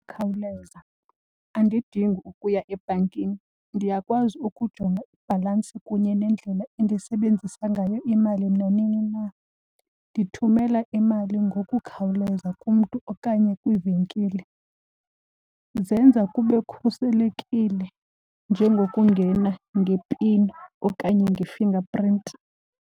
Khawuleza, andidingi ukuya ebhankini. Ndiyakwazi ukujonga ibhalansi kunye nendlela endisebenzisa ngayo imali nanini na. Ndithumela imali ngokukhawuleza kumntu okanye kwiivenkile. Zenza kube kukhuselekile njengokungena ngepini okanye nge-fingerprint.